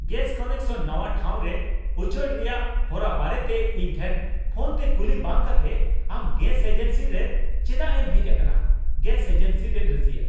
Gas connection ᱱᱟᱶᱟ ᱴᱷᱟᱶ ᱨᱮ ᱩᱪᱟᱹᱲ ᱨᱮᱭᱟᱜ ᱦᱚᱨᱟ ᱵᱟᱨᱮᱛᱮ ᱤᱧ ᱴᱷᱮᱱ ᱯᱷᱳᱱ ᱛᱮ ᱠᱩᱞᱤ ᱵᱟᱝ ᱠᱟᱛᱮ ᱟᱢ ᱜᱮᱥ ᱮᱡᱮᱱᱥᱤ ᱨᱮ ᱪᱮᱫᱟᱜ ᱮᱢ ᱦᱮᱡ ᱟᱠᱟᱱᱟ? (ᱜᱮᱥ ᱮᱡᱮᱱᱥᱤ ᱨᱮᱱ ᱨᱟᱹᱥᱤᱭᱟᱹ)